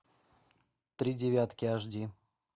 три девятки аш ди